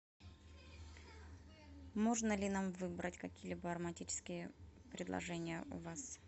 можно ли нам выбрать какие либо ароматические предложения у вас